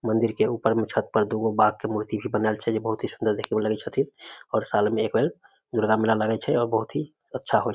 मंदिर के ऊपर मे छत पर दुगो बाघ के मूर्ति भी बनल छै जे बहुत सुन्दर देखे मे लगे छथिन और साल में एक बेर दुर्गा मेला लगे छै और बहुत ही अच्छा होय छै ।